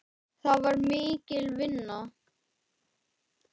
Það var mikil vinna.